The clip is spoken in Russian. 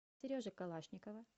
сережи калашникова